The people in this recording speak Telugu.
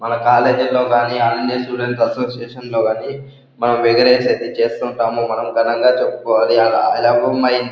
మన కాలేజీ లో కానీ ఆంధ్ర స్టూడెంట్ అసోసియేషన్ లో కానీ మనం సెటిల్ చేస్తుంటాము. మనం ఘనంగా చెప్పుకోవాలి.